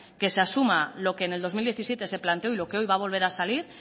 que se asuma lo que en el dos mil diecisiete se planteó y lo que hoy va a volver a salir